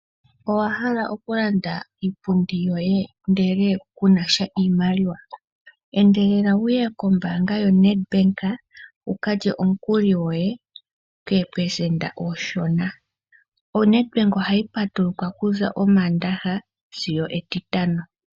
Owahala okulanda iipundi yoye ndele kunasha iimaliwa? Endelela wuye kombaanga yoNedbank wukalye omukuli gwoye koopelesenda oonshona. ONedbank ohayi patuluka kuza Omaandaha sigo Etitano.